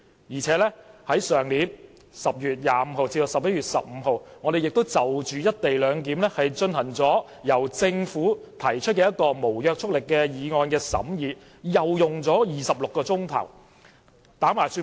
而且，去年10月25日至11月15日，立法會會議亦曾審議由政府提出的一項"一地兩檢"無約束力議案，總共用了26小時。